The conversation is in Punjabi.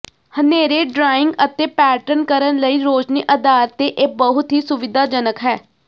ਹਨੇਰੇ ਡਰਾਇੰਗ ਅਤੇ ਪੈਟਰਨ ਕਰਨ ਲਈ ਰੌਸ਼ਨੀ ਆਧਾਰ ਤੇ ਇਹ ਬਹੁਤ ਹੀ ਸੁਵਿਧਾਜਨਕ ਹੈ